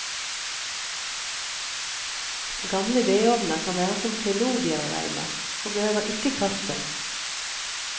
Gamle vedovner kan være som klenodier å regne og behøver ikke kastes.